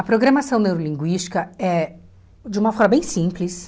A programação neurolinguística é, de uma forma bem simples...